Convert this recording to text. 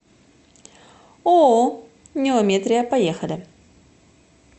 ооо неометрия поехали